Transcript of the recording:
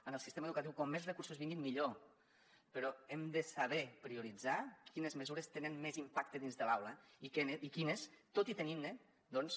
en el sistema educatiu com més recursos vinguin millor però hem de saber prioritzar quines mesures tenen més impacte dins de l’aula i quines tot i tenint ne doncs